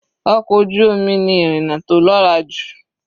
Ọkọ̀ ojú omi ni ìrìna tó lọ́ra jù.